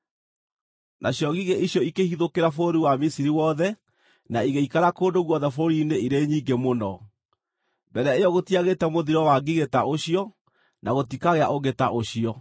Nacio ngigĩ icio ikĩhithũkĩra bũrũri wa Misiri wothe na igĩikara kũndũ guothe bũrũri-inĩ irĩ nyingĩ mũno. Mbere ĩyo gũtiagĩte mũthiro wa ngigĩ ta ũcio na gũtikagĩa ũngĩ ta ũcio.